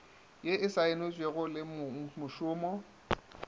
ye e saenetšwego le mongmošomo